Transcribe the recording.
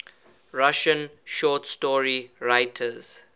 russian short story writers